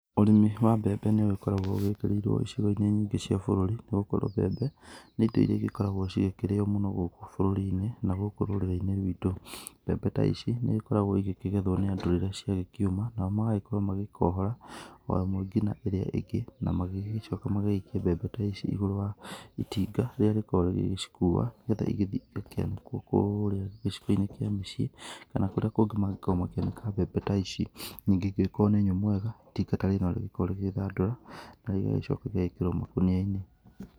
Ũrĩmi wa mbembe nĩ ũgĩkoragwo wĩkĩriirwo icigo-inĩ nyingĩ cia bũrũri, nĩ gũkorwo mbembe nĩ indo iria cigĩkoragwo ikĩrĩo mũno gũkũ bũrũri-inĩ na gũkũ rũrĩrĩ-inĩ ruitũ. Mbembe ta ici nĩ ikoragwo igĩkĩgethwo nĩ andũ rĩrĩa ciagĩkĩũma, nao magakorwo magĩkohora o ĩmwe ngina ĩrĩa ĩngĩ na magagĩcoka magagĩikia mbembe ta ici igũrũ wa itinga rĩrĩa rĩkoragwo rĩgĩcikua nĩ getha igĩthiĩ igĩkĩanĩkwo kũrĩa gĩcigo-inĩ kĩa mĩciĩ kana kũria kũngĩ mangĩkorwo makianĩka mbembe ta ici. Ningĩ angĩgĩkorwo nĩ nyũmũ wega itinga ta rĩrĩ no rĩgĩkorwo rĩgĩthandũra na igagĩcoka igagĩkĩrwo makũnia-inĩ.